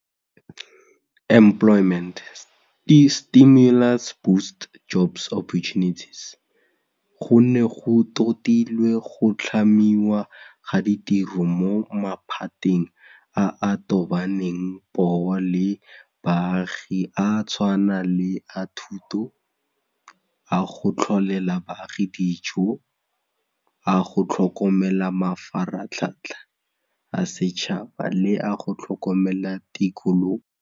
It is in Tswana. Go ne go totilwe go tlhamiwa ga ditiro mo maphateng a a tobaneng poo le baagi a tshwana le a thuto, a go tlholela baagi dijo, a go tlhokomela mafaratlhatlha a setšhaba le a go tlhokomela tikologo.